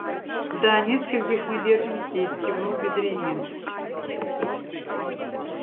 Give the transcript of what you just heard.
да нескольких мы держим здесь кивнул бедренец